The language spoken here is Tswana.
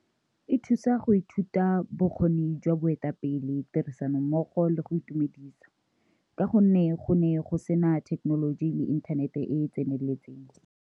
E thusa go ithuta bokgoni jwa boetapele, tirisanommogo le go itumedisa ka gonne go ne go sena thekenoloji le inthanete e e tseneletseng.